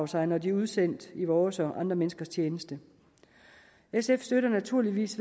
sig når de er udsendt i vores og andre menneskers tjeneste sf støtter naturligvis